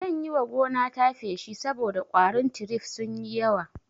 Zan yiwa gonata feshi saboda ƙwarin tirif sunyi yawa